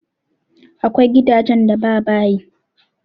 Akwai gidajen da ba bayi.